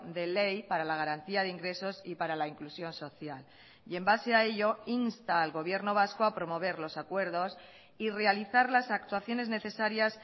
de ley para la garantía de ingresos y para la inclusión social y en base a ello insta al gobierno vasco a promover los acuerdos y realizar las actuaciones necesarias